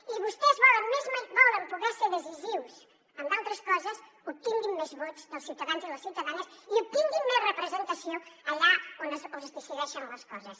si vostès volen poder ser decisius en d’altres coses obtinguin més vots dels ciutadans i les ciutadanes i obtinguin més representació allà on es decideixen les coses